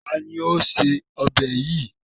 Ta ni ó se ọbẹ̀ yìí?